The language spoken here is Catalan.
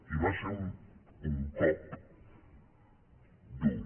i va ser un cop dur